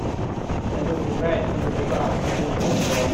салют играй небезао скажи мне как дела